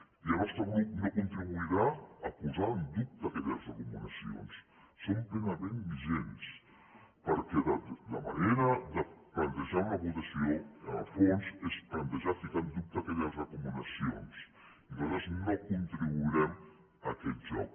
i el nostre grup no contribuirà a posar en dubte aquelles recomanacions són plenament vigents perquè la manera de plantejar una votació en el fons és plantejar posar en dubte aquelles recomanacions i nosaltres no contribuirem a aquest joc